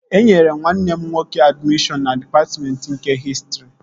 E nyere nwanne m nwoke admishọn na dịpatmentị nke hịstrị